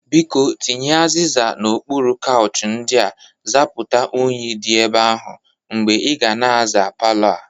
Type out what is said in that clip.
Biko, tinye azịza n'okpuru kauchi ndị a zapụta unyi dị ebe ahụ mgbe ị ga na-aza palọ a.